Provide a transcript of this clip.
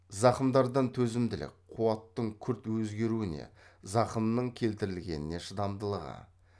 зақымдардан төзімділік қуаттың күрт өзгеруіне зақымның келтірілгеніне шыдамдылығы